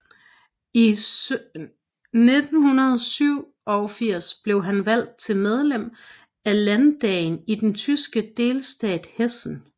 I 1987 blev han valgt til medlem af landdagen i den tyske delstat Hessen